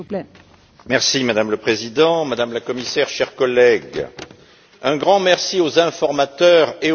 Madame le Président, Madame le Commissaire, chers collègues, un grand merci aux informateurs et aux journalistes.